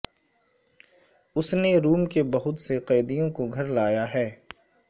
اس نے روم کے بہت سے قیدیوں کو گھر لایا ہے